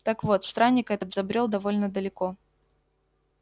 так вот странник этот забрёл довольно далеко